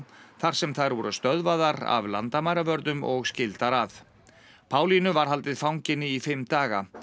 þar sem þær voru stöðvaðar af landamæravörðum og skildar að var haldið fanginni í fimm daga